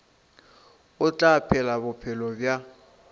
o tla phela bophelo bja